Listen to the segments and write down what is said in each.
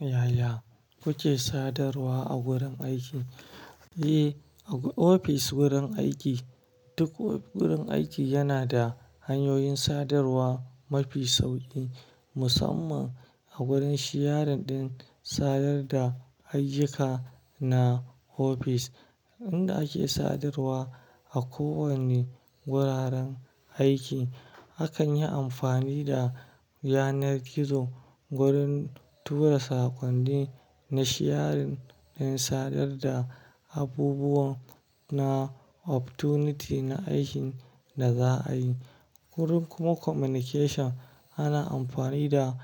Yaya kuke sadarwa a wurin aiki? Eh, ofis wurin aiki, duk wurin aiki yana da hanyoyin sadarwa mafi sauƙi, musamman a wurin shiyaring din sadar da ayyuka na ofis. Inda ake sadarwa a kowane wuraren aiki hakan yi amfani da yanar gizo wurin tura sakonni na shiyaring din sadar da abubuwan na opportunity na aikin da za a yi. Wurin kuma communication ana amfani da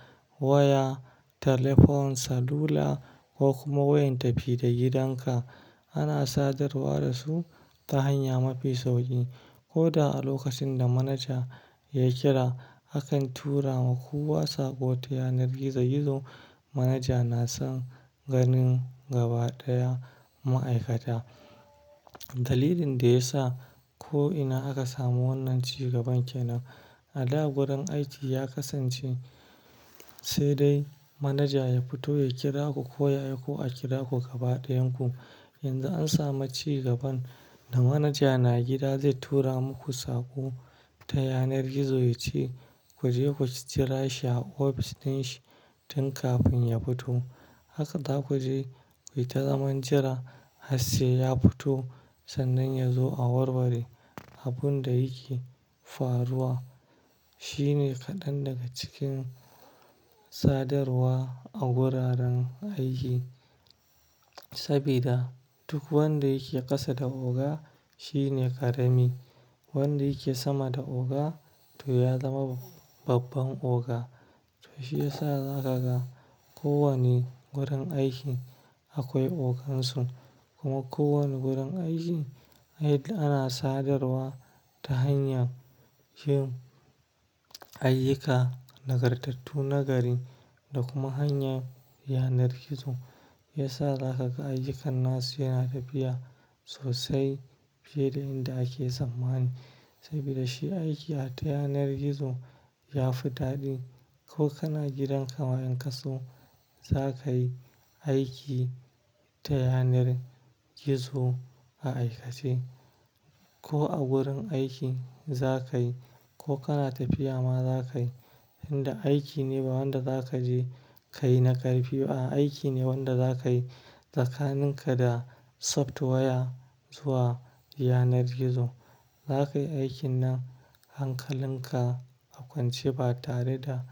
waya, telephone salula ko kuma wayan tafi da gidanka. Ana sadarwa da su ta hanya mafi sauƙi. Ko da a lokacin da manaja ya kira, akan turawa kowa sakonni ta yanar gizo gizo. Manaja na son ganin gaba ɗaya ma'aikata. Dalilin da ya sa ko'ina aka samu wannan ci gaban kenan. A da wurin aiki ya kasance sai dai manaja ya fito ya kira ku ko ya aiko a kira ku gaba ɗayan ku. Yanzu an samu ci gaban da manaja na gida zai tura muku saƙo ta yanar gizo, ya ce ku je ku jira shi a ofis din shi tun kafin ya fito. Haka za ku je, ku yi ta zaman jira har sai ya fito sannan ya zo a warware abun da yake faruwa. Shine kaɗan daga cikin sadarwa a wuraren aiki. Sabida duk wanda yake ƙasa da oga shine ƙarami, wanda yake sama da oga toh ya zama babban oga. Toh shi yasa za ka ga kowane wurin aiki akwai ogansu kuma kowane wurin aiki ana sadarwa ta hanyar yin ayyuka, nagartattu nagari da kuma hanya yanar gizo. Yasa za ka ga ayyukan nasu yana tafiya sosai fiye da inda ake tsammani. Sabida shi aiki a ta yanar gizo ya fi daɗi. Ko kana gidan ka ma in ka so za ka yi aiki ta yanar gizo a aikace. Ko a wurin aiki za ka yi ko kana tafiya ma za ka yi. Inda aiki ne ba wanda za ka je ka yi na ƙarfi ba. Aiki ne wanda za ka yi tsakaninka da soft waya zuwa yanar gizo. Za ka yi aikin na hankalin ka a kwance ba tare da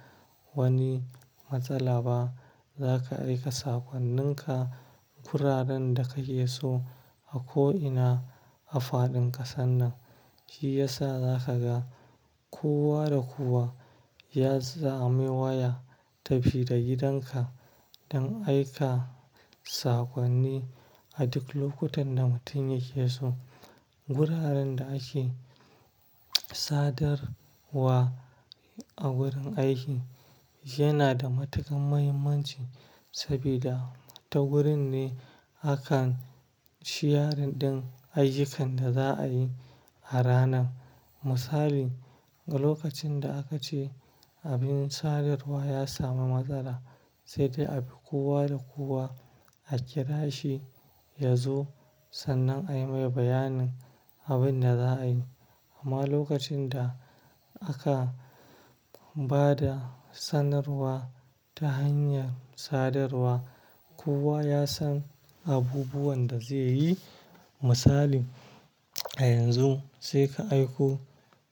wani matsala ba. Za ka aika sakonninka kuraren da ka ke so a ko'ina a faɗin ƙasa nan. Shi yasa za ka ga kowa da kowa ya zame waya tafi da gidanka don aika sakonni a duk lokutan da mutum yake so. Wuraren da ake sadarwa a wurin aiki yana da matuƙar muhimmanci sabida ta wurin ne aka shiyaring din ayyukan da za a yi a ranan. Misali, lokacin da aka ce abin sadarwa ya sami matsala sai dai a bi kowa da kowa a kira shi ya zo sannan a yi mai bayanin abin da za a yi. Amma lokacin da aka ba da sanarwa ta hanyar sadarwa, kowa ya san abubuwan da zai yi. Misali, yanzu sai ka aiko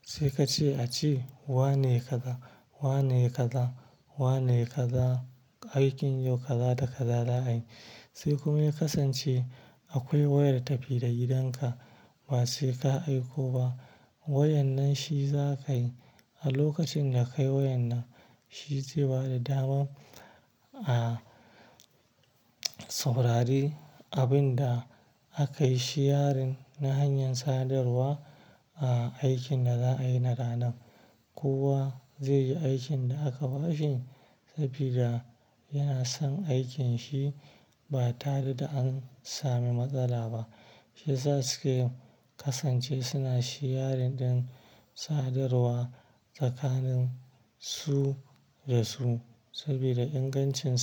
sai ka ce a ce wane yayi ka za, wane yayi ka za, wane yayi ka za aikin yau ka za da ka za za a yi. Sai kuma ya kasance akwai wayar tafi da gidanka ba sai ka aiko ba. Wayan nan shi za ka yi a lokacin da ka yi wayan nan shi zai ba da damar, ah, saurari abin da aka yi shiyaring na hanyar sadarwa a aikin da za a yi na ranan. Kowa zai yi aikin da aka ba shi sabida yana son aikin shi ba tare da an sami matsala ba. Shi yasa suke kasance suna shiyaring din sadarwa tsakanin su da su sabida ingancin.